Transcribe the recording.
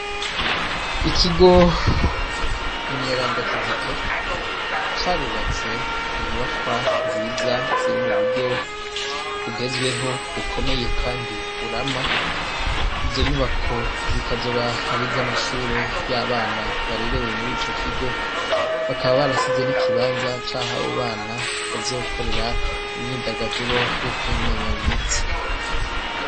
Ikigo mweranda kizito carubatse inyubakwa nziza zirimuburyo bugezweho kubomeye kandi burama izonyubako zikazoba ari izamashure yabana barerewe muri icokigo bakaba barasize nikibanza caho abobana bazokorera imyidagaduro yokwinonora imitsi